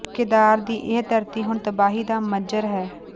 ਕੇਦਾਰ ਦੀ ਇਹ ਧਰਤੀ ਹੁਣ ਤਬਾਹੀ ਦਾ ਮੰਜ਼ਰ ਹੈ